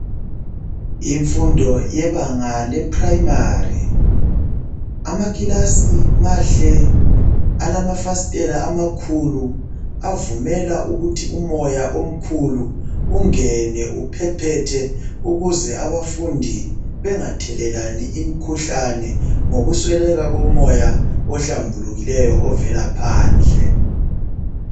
Imfundo yebanga lePrimary, amakilasi mahle alamafasitela amakhulu avumela ukuthi umoya omkhulu ungene uphephethe ukuze abafundi bengathelelani imkhuhlane ngokusweleka komoya ohlambulukileyo ovela phandle.